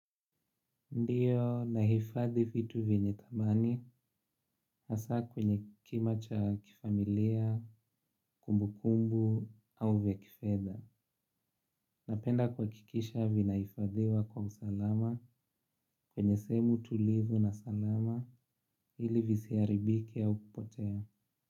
Ndiyo nahifadhi vitu vyenye thamani hasa kwenye kima cha kifamilia, kumbu kumbu au vya kifedha. Napenda kuhakikisha vinahifadhiwa kwa usalama kwenye sehemu tulivu na salama ili visiharibike au kupotea.